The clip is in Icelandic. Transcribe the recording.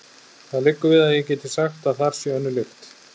Það liggur við að ég geti sagt að þar sé önnur lykt.